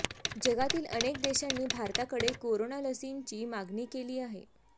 जगातील अनेक देशांनी भारताकडे कोरोना लसींची मागणी केली आहे